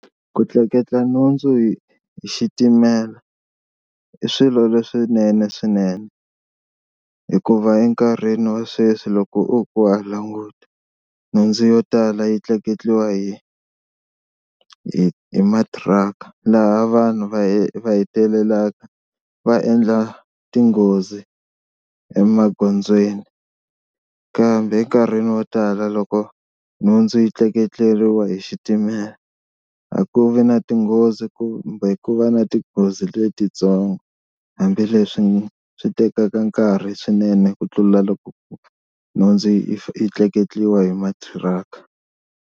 Ku tleketla nhundzu hi hi xitimela i swilo leswinene swinene, hikuva enkarhini wa sweswi loko u ku wa languta nhundzu yo tala yi tleketliwa hi hi matiraka laha vanhu va va hetelela va endla tinghozi emagondzweni. Kambe enkarhini wo tala loko nhundzu yi tleketleriwe hi xitimela a ku vi na tinghozi kumbe ku va na tinghozi letitsongo hambileswi swi tekaka nkarhi swinene ku tlula loko ku nhundzu yi tleketliwa hi mathiraka.